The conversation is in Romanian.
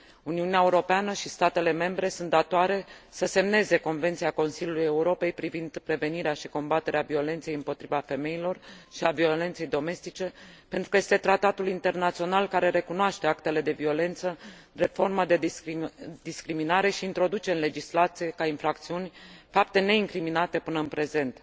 Uniunea Europeană și statele membre sunt datoare să semneze Convenția Consiliului Europei privind prevenirea și combaterea violenței împotriva femeilor și a violenței domestice, pentru că este tratatul internațional care recunoaște actele de violență drept formă de discriminare și introduce în legislație ca infracțiuni fapte neincriminate până în prezent.